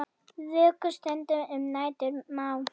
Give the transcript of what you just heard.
Vöku stunda um nætur má.